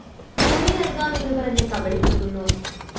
ഭൂമി നല്‍കാം എന്ന് പറഞ്ഞ് കബളിപ്പിക്കുന്നു